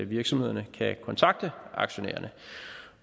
virksomhederne kan kontakte aktionærerne